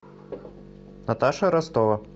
наташа ростова